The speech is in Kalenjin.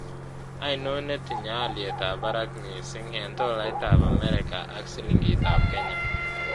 Ainon netinye alyetap barak misiing' eng' tolaitap amerika ak silingiitap kenya